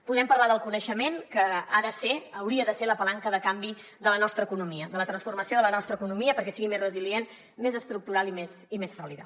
podem parlar del coneixement que ha de ser hauria de ser la palanca de canvi de la nostra economia de la transformació de la nostra economia perquè sigui més resilient més estructural i més sòlida